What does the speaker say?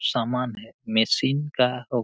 सामान है मशिन का--